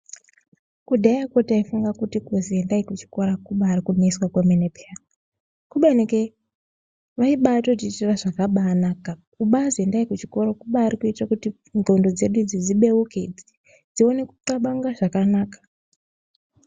Kudhaya ko taifunga kuti kuzi endai kuchikora ko kubairi kuneswa kwemene payini kubeni ke vaibatoshuva zvakabanaka kubaziendai kuchikora ku ndxondo dzedu dzebeuke dzione kuklabanga zvakanaka.